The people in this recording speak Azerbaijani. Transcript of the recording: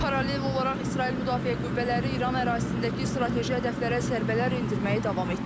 Paralel olaraq İsrail Müdafiə Qüvvələri İran ərazisindəki strateji hədəflərə zərbələr endirməyi davam etdirir.